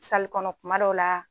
Salikɔnɔ kuma dɔw la